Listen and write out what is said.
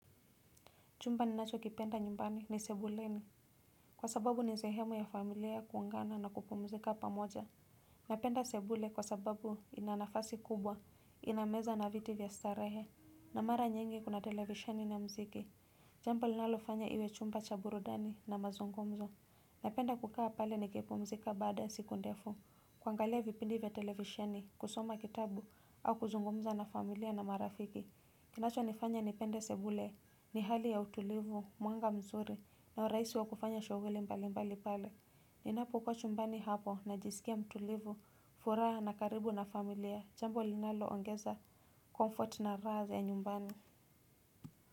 Chumba ninachokipenda nyumbani ni sebuleni kwa sababu ni sehemu ya familia ya kuungana na kupumzika pamoja Napenda sebule kwa sababu ina nafasi kubwa ina meza na viti vya starehe. Na mara nyingi kuna televisheni na mziki Jambo linalofanya iwe chumba cha burudani na mazungumzo napenda kukaa pale nikipumzika baada siku ndefu kuangalia vipindi vya televisheni kusoma kitabu au kuzungumza na familia na marafiki kinachofanya nifanya nipende sebule ni hali ya utulivu mwanga mzuri na uraisi wa kufanya shughuli mbalimbali pale ninapokuwa chumbani hapo najisikia mtulivu furaha na karibu na familia jambo linaloongeza comfort na raha za nyumbani.